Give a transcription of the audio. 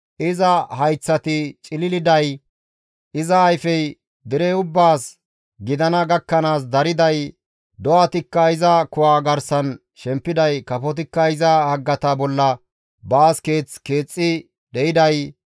iza hayththati cililiday, iza ayfey dere ubbaas gidana gakkanaas dariday, do7atikka iza kuwa garsan shempiday, kafotikka iza haggata bolla baas keeth keexxi de7iday,